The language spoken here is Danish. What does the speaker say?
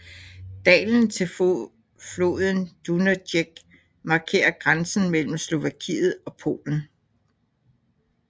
Dalen til floden Dunajec markerer grænsen mellem Slovakiet og Polen